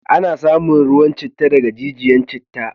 Ana samun ruwan citta daga riggiyan citta.